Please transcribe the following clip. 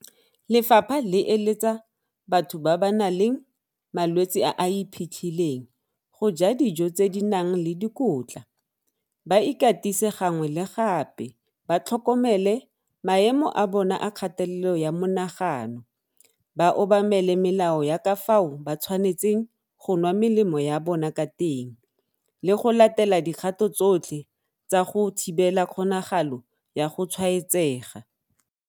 Lefapha le eletsa batho ba ba nang le malwetse a a iphitlhileng go ja dijo tse di nang le dikotla, ba ikatise gangwe le gape, ba tlhokomele maemo a bona a kgatelelo ya monagano, ba obamele melao ya ka fao ba tshwanetseng go nwa melemo ya bona ka teng le go latela dikgato tsotlhe tsa go thibela kgonagalo ya go tshwaetsega.